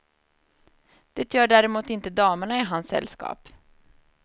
Det gör däremot inte damerna i hans sällskap.